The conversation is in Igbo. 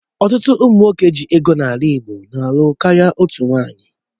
Ọtụtụ ụmụ nwoke ji ego n'ala Igbo na-alụ karịa otú nwaanyị